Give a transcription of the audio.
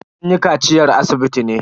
Sun yi kaciyar asibiti ne.